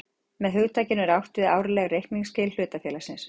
Með hugtakinu er átt við árleg reikningsskil hlutafélags.